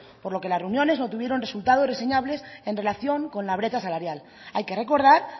por lo que las reuniones no tuvieron resultados reseñables en relación con la brecha salarial hay que recordar